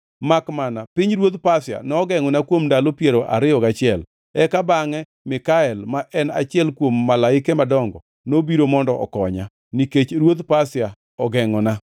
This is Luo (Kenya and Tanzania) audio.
Makmana pinyruodh Pasia nogengʼona kuom ndalo piero ariyo gachiel. Eka bangʼe Mikael, ma en achiel kuom malaike madongo, nobiro mondo okonya, nikech ruodh Pasia ogengʼona.